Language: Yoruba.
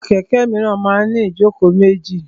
Àwọn kẹ̀kẹ́ míràn máa ń ní ìjókòó méjì.